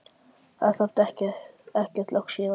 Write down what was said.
Það er samt ekkert langt síðan.